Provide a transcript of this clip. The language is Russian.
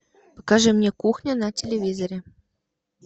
покажи мне кухня на телевизоре